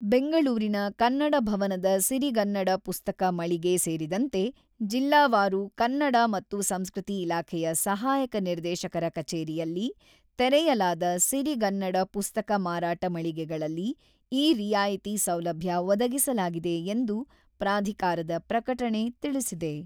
ಬೆಂಗಳೂರಿನ ಕನ್ನಡ ಭವನದ ಸಿರಿಗನ್ನಡ ಪುಸ್ತಕ ಮಳಿಗೆ ಸೇರಿದಂತೆ ಜಿಲ್ಲಾವಾರು ಕನ್ನಡ ಮತ್ತು ಸಂಸ್ಕೃತಿ ಇಲಾಖೆಯ ಸಹಾಯಕ ನಿದೇಶಕರ ಕಚೇರಿಯಲ್ಲಿ ತೆರೆಯಲಾದ ಸಿರಿಗನ್ನಡ ಪುಸ್ತಕ ಮಾರಾಟ ಮಳಿಗೆಗಳಲ್ಲಿ ಈ ರಿಯಾಯಿತಿ ಸೌಲಭ್ಯ ಒದಗಿಸಲಾಗಿದೆ ಎಂದು ಪ್ರಾಧಿಕಾರದ ಪ್ರಕಟಣೆ ತಿಳಿಸಿದೆ.